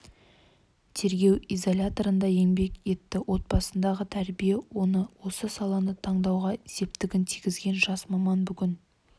тергеу изоляторында еңбек етті отбасындағы тәрбие оны осы саланы таңдауға септігін тигізген жас маман бүгін